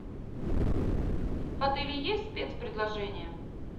в отеле есть спецпредложения